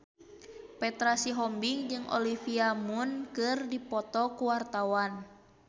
Petra Sihombing jeung Olivia Munn keur dipoto ku wartawan